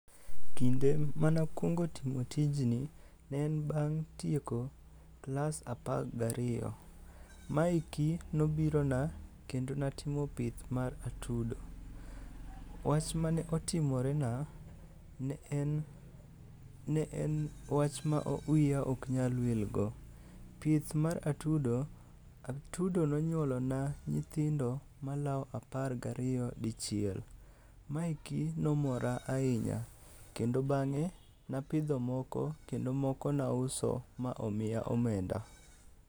Kinde mane akwongo timo tijni, ne en bang' tieko klas apar gariyo. Maeki nobirona kendo natimo pith mar atudo. Wach mane otimorena, ne en wach ma wiya ok nyal wil go. Pith mar atudo. atudo nonyuolona nyithindo malawo apar gariyo dichiel. Ma eki nomora ahinya, kendo bang'e napidho moko kendo moko nauso ma omiya omenda.